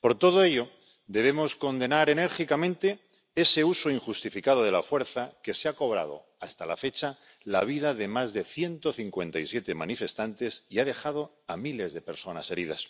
Por todo ello, debemos condenar enérgicamente ese uso injustificado de la fuerza, que se ha cobrado hasta la fecha la vida de más de 157 manifestantes y ha dejado a miles de personas heridas.